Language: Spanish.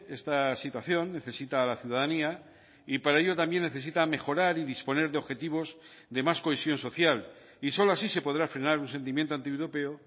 esta situación necesita a la ciudadanía y para ello también necesita mejorar y disponer de objetivos de más cohesión social y solo así se podrá frenar un sentimiento antieuropeo